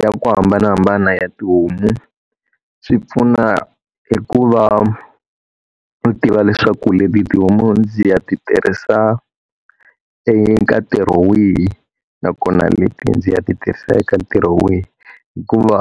Ya ku hambanahambana ya tihomu swi pfuna hi ku va u tiva leswaku leti tihomu ndzi ya tirhisa eka ntirho wihi, nakona leti ndzi ya tirhisa eka ntirho wihi. Hikuva